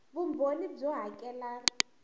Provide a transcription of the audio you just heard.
vumbhoni byo hakela r leyi